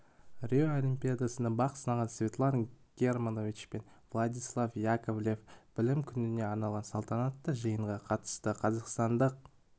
рио олимпиадасында бақ сынаған светлана германович пен владислав яковлев білім күніне арналған салтанатты жиынға қатысты қазақстандық